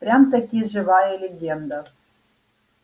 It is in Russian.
прям-таки живая легенда